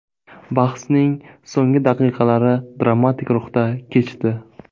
Bahsning so‘nggi daqiqalari dramatik ruhda kechdi.